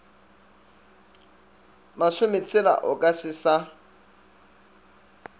masometshela o ka se sa